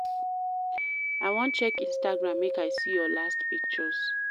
I wan check Instagram, make I see your latest pictures.